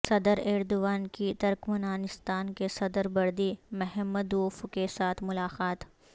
صدر ایردوان کی ترکمانستان کے صدر بردی محمدوف کیساتھ ملاقات